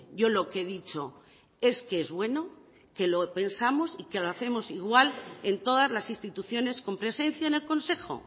yo lo que he dicho es que es bueno que lo pensamos y que lo hacemos igual en todas las instituciones con presencia en el consejo